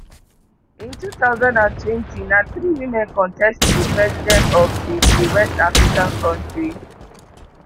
in two thousand and twenty na three women contest to be president of di di west african kontri